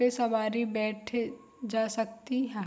पे सवारी बैठे जा सकती हा।